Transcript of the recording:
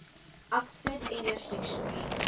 oxford english dictionary